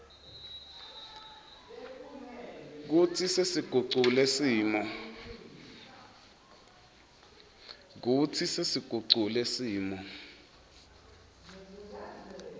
kutsi sesigucule simo